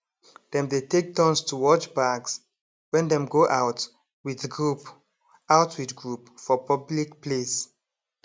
dem dey take turns to watch bags when dem go out with group out with group for public place